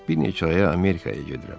Bir neçə aya Amerikaya gedirəm.